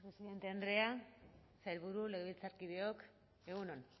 presidente andrea sailburu legebiltzarkideok egun on